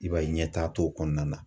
I b'a ye ɲɛtaga t'o kɔnɔna na.